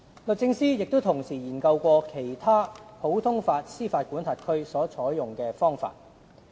律政司同時也研究其他普通法司法管轄區所採用的方法。